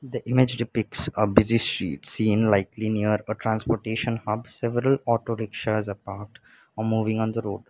the image depicts a busy street scene likely near a transportation hub several auto rickshaws are parked or moving on the road.